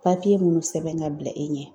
Papiye minnu sɛbɛn ka bila e ɲɛ